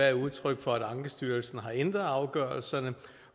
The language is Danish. er udtryk for at ankestyrelsen har ændret afgørelserne